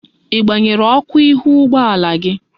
Igbanyere Oku ihu ụgbọala gị?